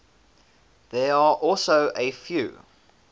there are also a few